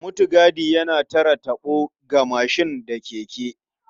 Mutigadi yana tare taɓo ga mashin da keke.